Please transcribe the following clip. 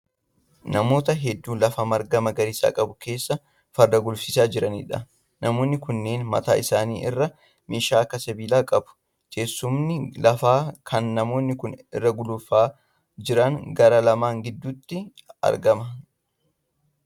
Namoota hedduu lafa marga magariisa qabu keessa farda gulufsiisaa jiraniidha. Namoonni kunneen mataa isaanii irraa meeshaa akka sibiilaa qabu. Teessumni lafaa kan namoonni kun irra gulufaa jiran gaara lama gidduutti argama.